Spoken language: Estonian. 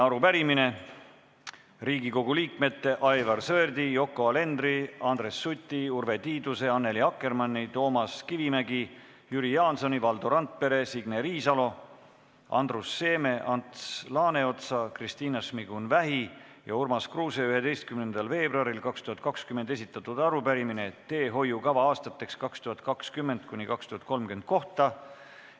Teiseks on Riigikogu liikmete Aivar Sõerdi, Yoko Alenderi, Andres Suti, Urve Tiiduse, Annely Akkermanni, Toomas Kivimägi, Jüri Jaansoni, Valdo Randpere, Signe Riisalo, Andrus Seeme, Ants Laaneotsa, Kristina Šmigun-Vähi ja Urmas Kruuse 11. veebruaril 2020 esitatud arupärimine teehoiukava aastateks 2020–2030 kohta.